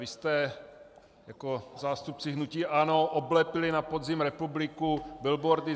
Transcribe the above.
Vy jste jako zástupci hnutí ANO oblepili na podzim republiku billboardy